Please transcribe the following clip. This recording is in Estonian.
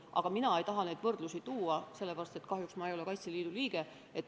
Aga mina ei taha neid võrdlusi tuua, sest kahjuks ei ole ma Kaitseliidu liige.